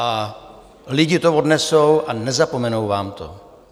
A lidi to odnesou a nezapomenou vám to.